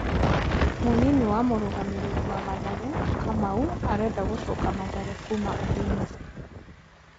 Mũnini wa mũrũgamĩriri wa Mathare: Kamau arenda gũcoka Mathare kuma Ulinzi.